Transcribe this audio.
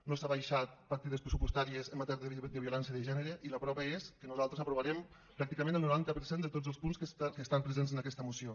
no s’han abaixat partides pressupostàries en matèria de violència de gènere i la prova és que nosaltres aprovarem pràcticament el noranta per cent de tots els punts que estan presents en aquesta moció